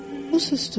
O susdu.